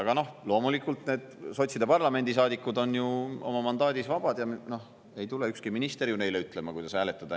Aga loomulikult, sotside parlamendisaadikud on ju oma mandaadis vabad ja ei tule ükski minister neile ütlema, kuidas hääletada.